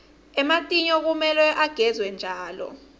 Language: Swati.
ematinyo kumele agezwe njalo